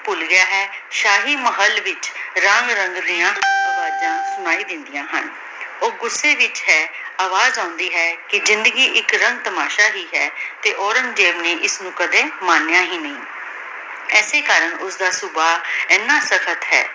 ਸੁਨਾਈ ਦੇਨ੍ਦਿਯਾਂ ਹਨ ਊ ਗੁਸੇ ਵਿਚ ਹੈ ਅਵਾਜ਼ ਆਉਂਦੀ ਹੈ ਕੇ ਜ਼ਿੰਦਗੀ ਏਇਕ ਰੰਗ ਤਮਾਸ਼ਾ ਹੀ ਹੈ ਤੇ ਓਰਾਂਗ੍ਜ਼ੇਬ ਨੇ ਇਸਨੁ ਕਦੀ ਮਾਨ੍ਯ ਹੀ ਨਹੀ ਏਸੀ ਕਰਨ ਓਸਦਾ ਸੁਭਾ ਏਨਾ ਕਥਨ ਹੈ